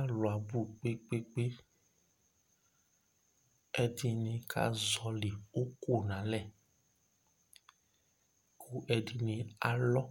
Alu abʋ kpekpekpe Ɛdɩnɩ kazɔlɩ uku nʋ alɛ, kʋ ɛdɩnɩ alɔ